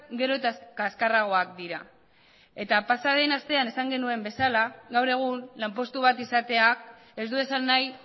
gero eta kaskarragoak dira eta pasa den astean esan genuen bezala gaur egun lanpostu bat izatea ez du esan nahi